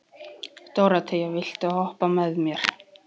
Dóróthea, viltu hoppa með mér?